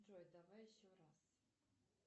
джой давай еще раз